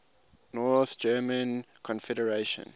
north german confederation